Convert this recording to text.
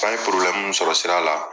An ye mun sɔrɔ sira la